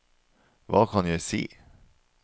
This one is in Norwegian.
hva kan jeg si